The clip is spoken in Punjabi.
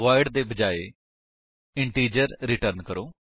ਵੋਇਡ ਦੇ ਬਜਾਏ ਇੰਟਿਜਰ ਰਿਟਰਨ ਕਰੋ